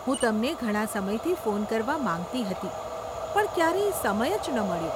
હું તમને ઘણાં સમયથી ફોન કરવા માંગતી હતી પણ ક્યારેય સમય જ ન મળ્યો.